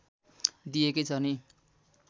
दिएकै छ नि